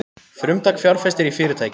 Frumtak fjárfestir í fyrirtæki